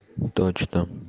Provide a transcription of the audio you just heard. точно